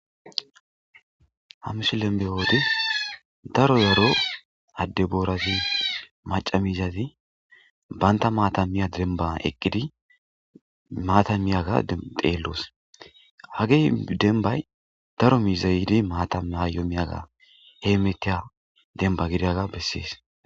Ha misilen be'oode daro yaro adde boorazi maca miizazi banta maatamiya dembba eqqidi maatamiyaga xeelloos haggey dembbay daro miiza yiddii maata bayo miyaga heemetiya dembba gidaga bessees